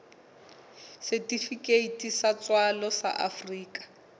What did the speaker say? setifikeiti sa tswalo sa afrika